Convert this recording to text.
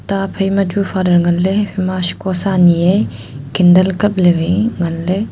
ta phaI machu father ngan le haphaI shiko sa nyI e candle kaple le waI ngan le.